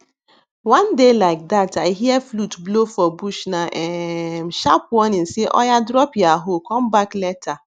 one day like dat i hear flute blow for bushna um sharp warning say oya drop ya hoe come back later